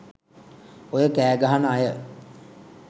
ඔය කෑ ගහන අය